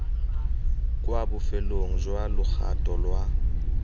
kwa bofelong jwa logato lwa